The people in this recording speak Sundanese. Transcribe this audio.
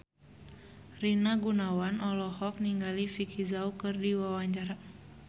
Rina Gunawan olohok ningali Vicki Zao keur diwawancara